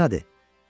Qorxu nədir?